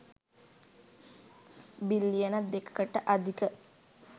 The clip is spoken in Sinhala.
බිලියන 2 කට අධික